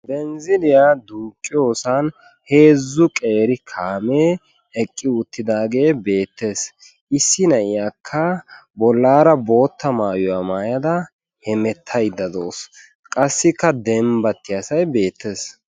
Benzziliya duuqqiyoosan heezzu qeeri kaame eqqi uttidaage beettees. Issi na'iyakka bollaara bootta maayuwa. maayada hemettayda dawus qassikka dembbattiyasay beettes.